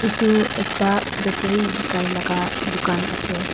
etu ekta battery bikai laga dukan ase.